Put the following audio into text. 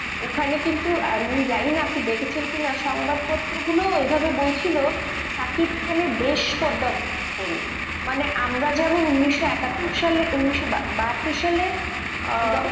ওখানে কিন্তু আমি জানিনা আপনি দেখেছেন কিনা, সংবাদ পত্রগুলো এইভাবে বলছিল সাকিব খানের দেশ করুন, মানে আমরা যেমন উনিশশো একাত্তর সালে উনিশশো বাহাত্তর সালে আহ